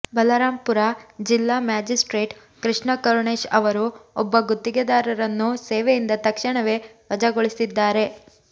ಬಲರಾಂಪುರ ಜಿಲ್ಲಾ ಮ್ಯಾಜಿಸ್ಟ್ರೇಟ್ ಕೃಷ್ಣ ಕರುಣೇಶ್ ಅವರು ಒಬ್ಬ ಗುತ್ತಿಗೆದಾರರನ್ನು ಸೇವೆಯಿಂದ ತಕ್ಷಣವೇ ವಜಾಗೊಳಿಸಿದ್ದಾರೆ